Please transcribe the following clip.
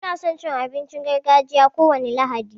Mu na son cin abincin gargajiya kowane lahadi.